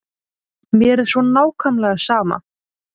Mér er svo nákvæmlega sama.